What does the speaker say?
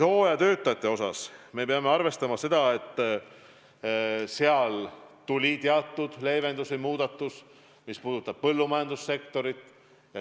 Hooajatöötajate puhul me peame arvestama seda, et tuli teatud leevendus või muudatus, mis puudutab põllumajandussektorit.